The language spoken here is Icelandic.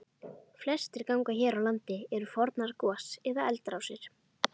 Flestir gangar hér á landi eru fornar gos- eða eldrásir.